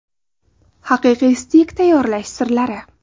Haqiqiy steyk tayyorlash sirlari.